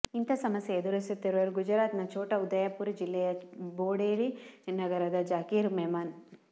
ಇಂಥ ಸಮಸ್ಯೆ ಎದುರಿಸುತ್ತಿರುವವರು ಗುಜರಾತ್ನ ಛೋಟಾ ಉದಯಪುರ ಜಿಲ್ಲೆಯ ಬೊಡೆಲಿ ನಗರದ ಝಾಕೀರ್ ಮೆಮನ್